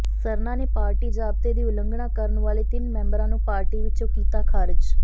ਸਰਨਾ ਨੇ ਪਾਰਟੀ ਜਾਬਤੇ ਦੀ ਉਲੰਘਣਾ ਕਰਨ ਵਾਲੇ ਤਿੰਨ ਮੈਂਬਰਾਂ ਨੂੰ ਪਾਰਟੀ ਵਿੱਚੋ ਕੀਤਾ ਖਾਰਜ